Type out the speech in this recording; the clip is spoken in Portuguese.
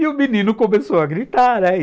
E o menino começou a gritar, né?